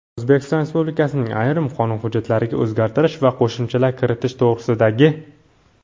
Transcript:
"O‘zbekiston Respublikasining ayrim qonun hujjatlariga o‘zgartish va qo‘shimchalar kiritish to‘g‘risida"gi;.